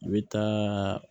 I bɛ taaaa